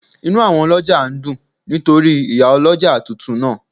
Inú àwọn ọlọ́jà ń dùn nítorí Ìyálọ́jà tuntun náà